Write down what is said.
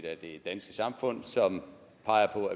af det danske samfund som peger